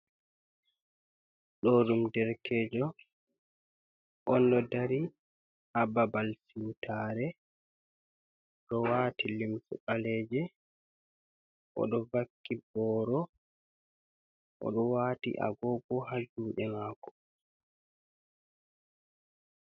Ɗo ɗum derkeejo, on ɗo ha babal tuutaare. Ɗo waati limse ɓaleeje, oɗo vakki booro, oɗo waati agoogo ha juuɗe maako.